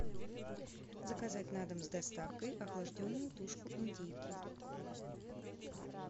заказать на дом с доставкой охлажденную тушку индейки